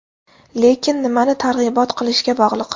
Lekin nimani targ‘ibot qilishga bog‘liq.